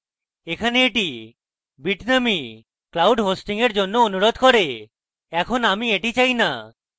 এখানে এটি bitnami cloud hosting এর জন্য অনুরোধ করে এখন আমি এটি চাই না